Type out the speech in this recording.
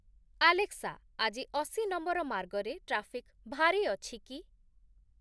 Alexa, ଆଜି ଅଶୀ number ମାର୍ଗରେ ଟ୍ରାଫିକ୍ ଭାରୀ ଅଛି କି ?